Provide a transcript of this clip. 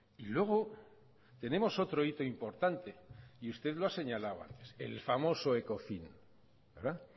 y luego tenemos otro hito importante y usted lo ha señalado antes el famoso ecofin verdad